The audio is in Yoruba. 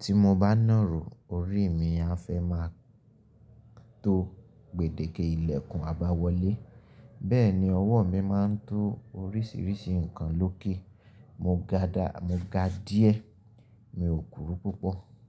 Tí mo bá nàró, orí mi a fẹ́ máa tó gbèdéke ìlẹ̀kùn àbáwọlé. Bẹ́ẹ̀ni, ọwọ́ mi máa ń to oríṣiríṣi nǹkan lókè. Mo ga dá, mo ga díẹ̀. Mi ò kúrú púpọ̀.